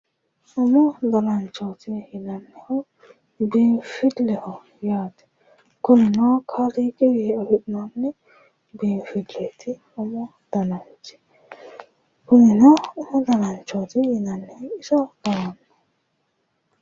Umu danancho yineemmo woyte manchi beetira seedisiratenna hara'mate akatinni afamannoha umu dananchoti yineemo.